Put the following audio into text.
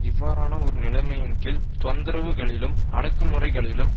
இவ்வாறான ஒரு நிலைமையின் கீழ் தொந்தரவுகளிலும் அடக்குமுறைகளிலும்